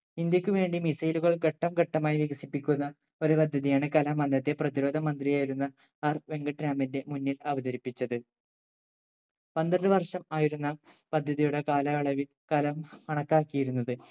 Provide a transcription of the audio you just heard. ഇന്ത്യക്ക് വേണ്ടി missile കൾ ഘട്ടം ഘട്ടമായി വികസിപ്പിക്കുന്ന ഒരു പദ്ധതിയാണ് കലാം അന്നത്തെ പ്രധിരോധ മന്ത്രിയായിരുന്ന R വെങ്കിട്ടരാമന്റെ മുന്നിൽ അവതരിപ്പിച്ചത് പന്ത്രണ്ട് വർഷം ആയിരുന്ന പദ്ധതിയുടെ കാലയളവിൽ കലാം കാണക്കാക്കിയിരുന്നത്